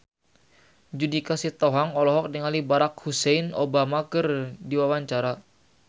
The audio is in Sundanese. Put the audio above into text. Judika Sitohang olohok ningali Barack Hussein Obama keur diwawancara